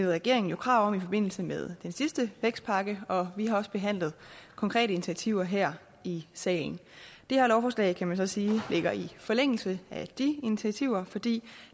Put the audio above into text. regeringen jo krav om i forbindelse med den sidste vækstpakke og vi har også behandlet konkrete initiativer her i salen det her lovforslag kan man så sige ligger i forlængelse af de initiativer fordi